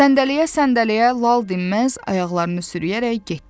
Səndələyə-səndələyə, lal-dinməz ayaqlarını sürüyərək getdi.